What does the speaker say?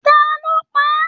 Taló pá a?